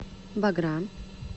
богра